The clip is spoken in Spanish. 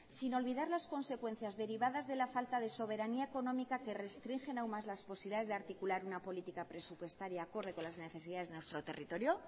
sin olvidar las consecuencias derivadas de la falta de soberanía económica que restringen aún más las posibilidades de articular una política presupuestaria acorde con las necesidades de nuestro territorio